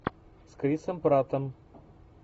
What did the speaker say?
с крисом праттом